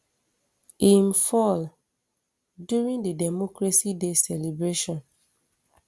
im um fall during di democracy day celebration